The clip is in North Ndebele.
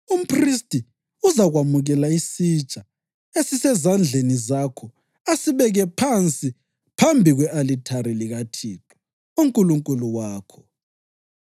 Umphristi uzakwamukela isitsha esisezandleni zakho asibeke phansi phambi kwe-alithari likaThixo uNkulunkulu wakho.